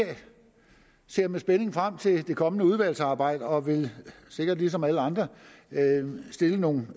ser med spænding frem til det kommende udvalgsarbejde og vil sikkert ligesom alle andre stille nogle